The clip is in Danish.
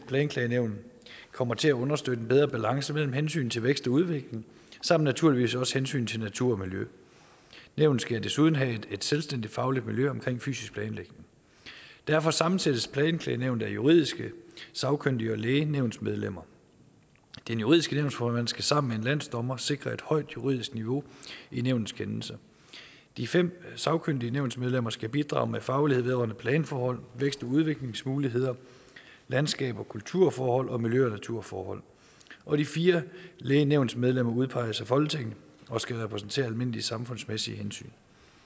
planklagenævn kommer til at understøtte en bedre balance mellem hensynet til vækst og udvikling samt naturligvis også hensynet til natur og miljø nævnet skal desuden have et selvstændigt fagligt miljø omkring fysisk planlægning derfor sammensættes planklagenævnet af juridiske sagkyndige og læge nævnsmedlemmer den juridiske nævnsformand skal sammen med en landsdommer sikre et højt juridisk niveau i nævnets kendelser de fem sagkyndige nævnsmedlemmer skal bidrage med faglighed vedrørende planforhold vækst og udviklingsmuligheder landskabs og kulturforhold og miljø og naturforhold og de fire læge nævnsmedlemmer udpeges af folketinget og skal repræsentere almindelige samfundsmæssige hensyn